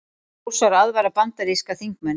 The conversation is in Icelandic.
Rússar aðvara bandaríska þingmenn